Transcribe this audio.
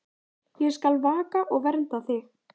Ég skal vaka og vernda þig.